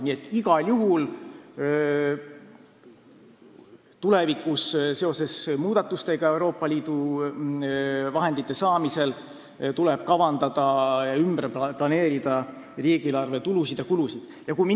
Nii et igal juhul tuleb seoses muudatustega Euroopa Liidu vahendite saamisel riigieelarve tulusid ja kulusid ümber planeerida.